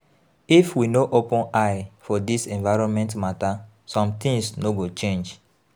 If we no open eye for dis environment mata, sometins no go change.